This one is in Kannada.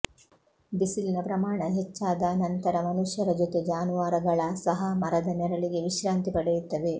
ಬಿಸಿಲಿನ ಪ್ರಮಾಣ ಹೆಚ್ಚಾದ ನಂತರ ಮನುಷ್ಯರ ಜೊತೆ ಜಾನುವಾರುಗಳ ಸಹ ಮರದ ನೆರಳಿಗೆ ವಿಶ್ರಾಂತಿ ಪಡೆಯುತ್ತವೆ